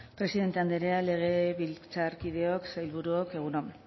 presidente andrea legebiltzarkideok sailburuok egun on